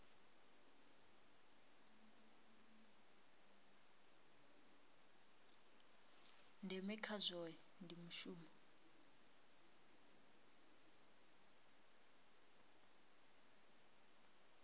ndeme kha zwohe ndi mushumo